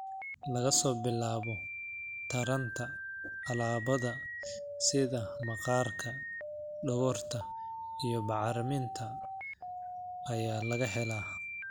Laga soo bilaabo taranta, alaabada sida maqaarka, dhogorta, iyo bacriminta ayaa laga helaa.